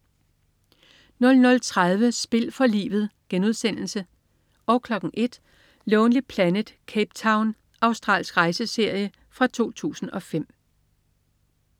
00.30 Spil for livet* 01.00 Lonely Planet: Cape Town. Australsk rejseserie fra 2005